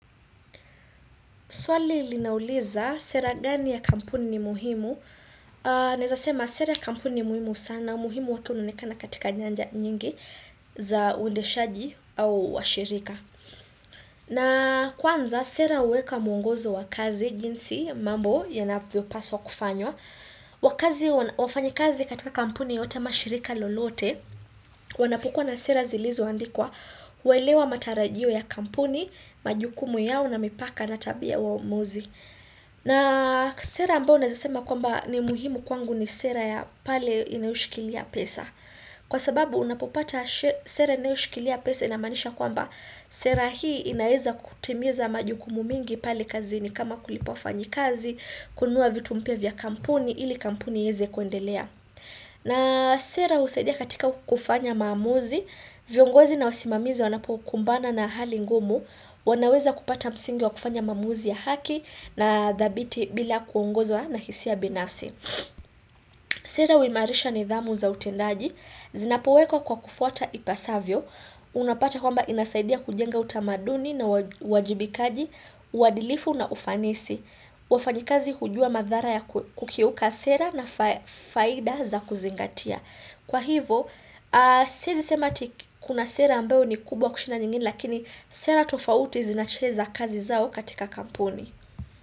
Swali linauliza sera gani ya kampuni ni muhimu. Naeza sema sera kampuni ni muhimu sana. Muhimu watu unaonekana katika nyanja nyingi za uendeshaji au washirika. Na kwanza sera huweka muongozo wa kazi jinsi mambo yanavyo paswa kufanywa. Wakazi wafanyi kazi katika kampuni yote ama shirika lolote. Wana pukua na sera zilizo andikwa. Huelewa matarajio ya kampuni, majukumu yao na mipaka na tabia wa uongozi. Na sera ambao naeza sema kwamba ni muhimu kwangu ni sera ya pale inaoshikilia pesa. Kwa sababu unapopata sera inaoshikilia pesa ina maanisha kwamba sera hii inaeza kutimiza majukumu mingi pale kazini kama kulipa wafanyi kazi, kununua vitu mpya vya kampuni, ili kampuni ieze kuendelea. Na sera husaidia katika kufanya maamuzi, viongozi na wasimamizi wanapo kumbana na hali ngumu, wanaweza kupata msingi wa kufanya maamuzi ya haki na dhabiti bila kuongozwa na hisia binafsi. Sera huimarisha nidhamu za utendaji, zinapo wekwa kwa kufuata ipasavyo, unapata kwamba inasaidia kujenga utamaduni na uwajibikaji, uadilifu na ufanisi. Wafanyi kazi hujua madhara ya kukiuka sera na faida za kuzingatia Kwa hivo, siezi sema eti kuna sera ambayo ni kubwa kushinda nyingine lakini sera tofauti zinacheza kazi zao katika kampuni.